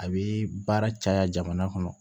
A bɛ baara caya jamana kɔnɔ